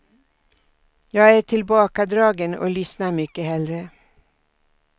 Jag är tillbakadragen och lyssnar mycket hellre.